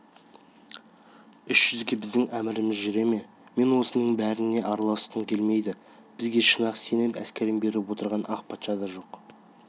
үш жүзге біздің әміріміз жүре ме мен осының біріне де араласқым келмейді бізге шын-ақ сеніп әскерін беріп отырған ақ патша да жоқ